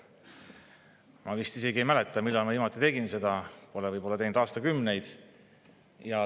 Ma isegi ei mäleta, millal ma viimati seda tegin, pole võib-olla teinud aastakümneid.